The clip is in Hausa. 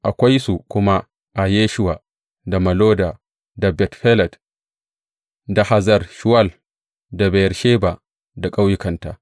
Akwai su kuma a Yeshuwa, da Molada, da Bet Felet, da Hazar Shuwal, da Beyersheba da ƙauyukanta.